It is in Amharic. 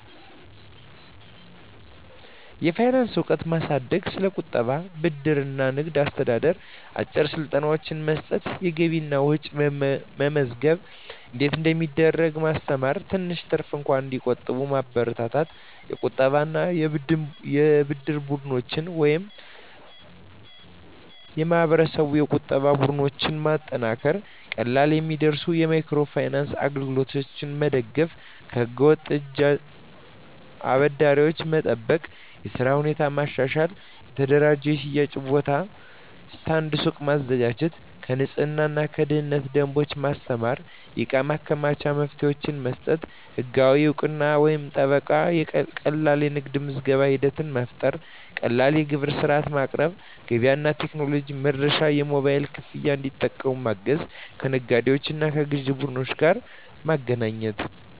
የፋይናንስ እውቀት ማሳደግ ስለ ቁጠባ፣ ብድር እና ንግድ አስተዳደር አጭር ስልጠናዎች መስጠት የገቢና ወጪ መመዝገብ እንዴት እንደሚደረግ ማስተማር ትንሽ ትርፍ እንኳን እንዲቆጠብ መበረታታት የቁጠባና የብድር ቡድኖች (እቃብ/እድር ) የማህበረሰብ ቁጠባ ቡድኖች ማጠናከር ቀላል የሚደርሱ የማይክሮ ፋይናንስ አገልግሎቶች መደገፍ ከህገ-ወጥ እጅ አበዳሪዎች መጠበቅ የሥራ ሁኔታ ማሻሻል የተደራጀ የሽያጭ ቦታ (ስታንድ/ሱቅ) ማዘጋጀት የንፅህናና የደህንነት ደንቦች ማስተማር የእቃ ማከማቻ መፍትሄዎች መስጠት ህጋዊ እውቅናና ጥበቃ ቀላል የንግድ ምዝገባ ሂደት መፍጠር ቀላል የግብር ሥርዓት ማቅረብ ገበያ እና ቴክኖሎጂ መድረሻ የሞባይል ክፍያ እንዲጠቀሙ ማገዝ ከነጋዴዎችና ከግዥ ቡድኖች ጋር ማገናኘት